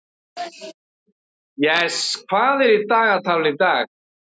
Jes, hvað er í dagatalinu í dag?